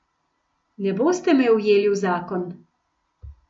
Ne boste me ujeli v zakon.